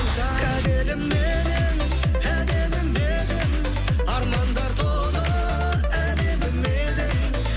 кәделім менің әдемім едің арманға толы әдемім едің